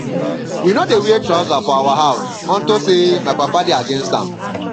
we no dey wear trouser for our house unto say my papa dey against am